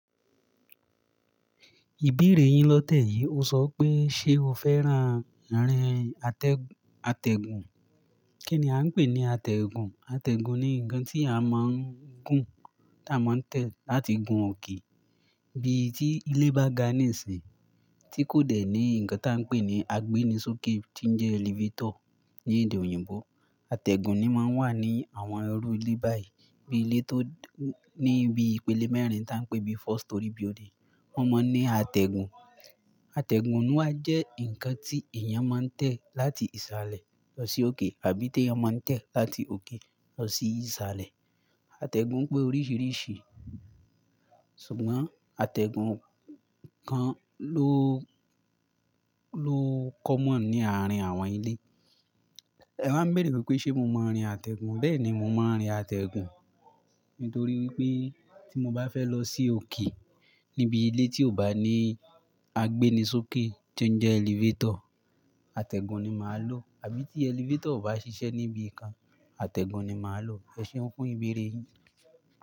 Ìbéèrè yin lọ́tẹ̀ yìí o sọ pé ṣe o fẹ́ran rírin àtẹ̀- àtẹ̀gùn? Kí ni a ń pè ní àtẹ̀gùn? Àtẹ̀gùn ni nǹkan tí a máa ń gùn tí a máa ń tẹ̀ láti gun òkè. Ibi tí ilé bá gan ni sí tí kò dẹ̀ ní nǹkan tí a ń pè ní agbéni sókè tí ń jẹ́ elevator ní èdè òyìnbó, àtẹ̀gùn ni máa ń wà ní àwọn ẹrú ilé báyìí. Bí ilé tó ní ibi ìpele mẹ́rin tí a ń pè ní four storey building, wọ́n máa ń ní àtẹ̀gùn. Àtẹ̀gùn wá jẹ́ ǹkan tí èèyàn máa ń tẹ̀ láti ìsàlẹ̀ lọ sí òkè àbí tí èèyàn máa ń tẹ̀ láti òkè lọ sí ìsàlẹ̀. Àtẹ̀gùn pé oríṣìíríṣìí sùgbọ́n àtẹ̀gùn kan ló- ló common ní àárín àwọn ilé. Ẹ máa ń béèrè pé ṣe mo mọ àtẹ̀gùn? Bẹ́ẹ̀ni, mo máa ń rin àtẹ̀gùn nítorí wípé tí mo bá fẹ́ lọ sí òkè níbi ilé tí ò bá ní agbéni sókè tí ó ń jẹ́ elevator, àtẹ̀gùn ni màá lò. Àbí tí elevator ò bá ṣiṣẹ́ níbi kan, àtẹ̀gùn ni màá lò. Ẹ ṣeun fún ìbéèrè yìí?